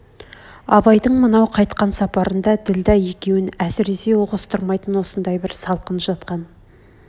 абайдың мынау қайтқан сапарында ділдә екеуін әсіресе ұғыстырмайтын осындай бір салқын жатқан